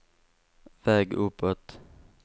väg uppåt